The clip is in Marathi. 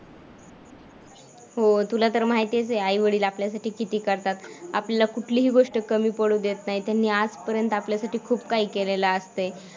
हो तुला तर माहितीच आहे, आई-वडील आपल्यासाठी किती करतात, आपलं कुठलीही गोष्ट कमी पडू देत नाहीत. त्यांनी आजपर्यंत आपल्यासाठी खूप काही केलेलं असतंय.